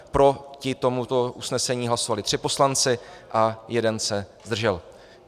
Proti tomuto usnesení hlasovali tři poslanci a jeden se zdržel.